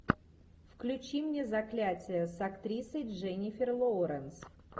включи мне заклятье с актрисой дженнифер лоуренс